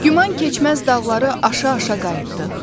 Güman keçməz dağları aşa-aşa qayıtdıq.